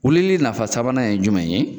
Wulili nafa sabanan ye jumɛn ye?